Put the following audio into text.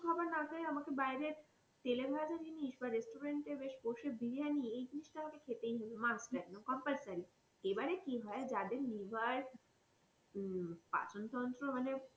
খাবার না খেয়ে আমাকে বাইরে তেলে ভাজা জিনিস বা restaurant এ বসে বেশ বিরিয়ানি এই জিনিস তা আমাকে খেতেই হবে must একদম compulsory এইবারে কি হয় যাদের liver হম পাচন তন্ত্র